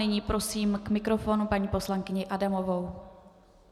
Nyní prosím k mikrofonu paní poslankyni Adamovou.